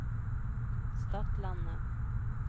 Stadlandet